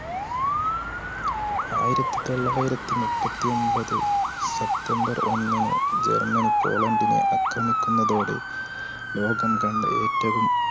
ആയിരത്തിതൊള്ളായിരത്തിമുപ്പത്തിഒൻപത് September ഒന്നിന്ജർമ്മനി പോളണ്ടിനെ ആക്രമിക്കുന്നതോടെ ലോകംകണ്ട ഏറ്റവും